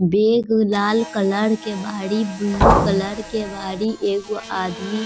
bag लाल colour के बाड़ी बुलू कलर के बाड़ी एगो आदमी --